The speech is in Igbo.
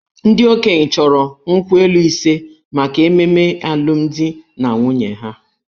Ndị okenye chọrọ nkwu elu ise maka ememe alụmdi na nwunye ha.